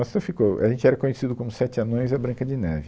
Nossa, eu fico, a gente era conhecido como os Sete Anões e a Branca de Neve.